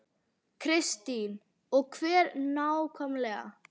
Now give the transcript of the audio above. Kristín: Og hvert nákvæmlega?